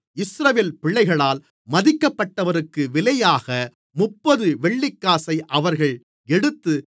இஸ்ரவேல் பிள்ளைகளால் மதிக்கப்பட்டவருக்குக் விலையாக முப்பது வெள்ளிக்காசை அவர்கள் எடுத்து